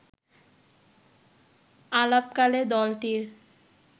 আলাপকালে দলটির